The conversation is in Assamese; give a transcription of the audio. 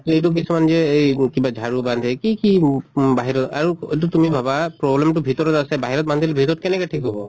so এইটো কিছুমান যে এই কিবা ঝাৰু বান্ধে কি কি বাহিৰত আৰু এইটো তুমি ভাবা problem টো ভিতৰত আছে, বাহিৰত বান্ধিলে ভিতৰত কেনেকে ঠিক হʼব?